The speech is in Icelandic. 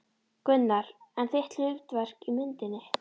Gunnar: En þitt hlutverk í myndinni?